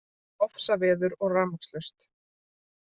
Ofsaveður og rafmagnslaust